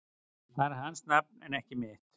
Það er hans nafn en ekki mitt